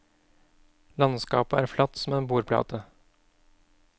Landskapet er flatt som en bordplate.